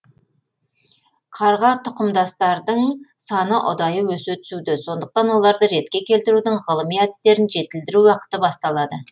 қарға тұқымдастардың саны ұдайы өсе түсуде сондықтан оларды ретке келтірудің ғылыми әдістерін жетілдіру уақыты басталады